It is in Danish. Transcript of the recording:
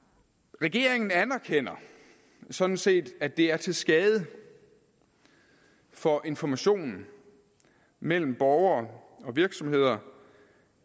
regeringen anerkender sådan set at det er til skade for informationen mellem borgere og virksomheder